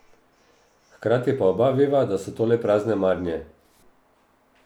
Hkrati pa oba veva, da so to le prazne marnje.